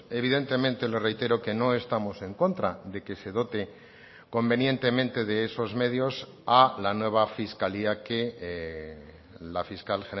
evidentemente le reitero que no estamos en contra de que se dote convenientemente de esos medios a la nueva fiscalía que la fiscal